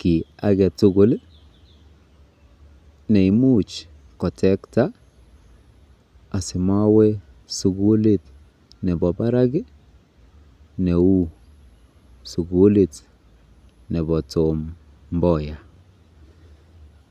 ki age tugul ne imuch kotektaa asi mawe sukulit nepa parak neu sukulit nepa Tom Mboya.